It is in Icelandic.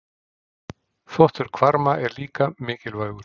Þvottur hvarma er líka mikilvægur.